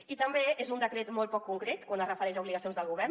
i també és un decret molt poc concret quan es refereix a obligacions del govern